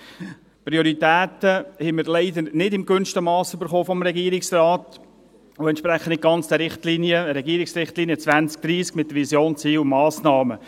Leider haben wir die Prioritäten vom Regierungsrat nicht im gewünschten Mass erhalten, und sie entsprechen nicht ganz den Regierungsrichtlinien 2030 mit Vision, Zielen und Massnahmen.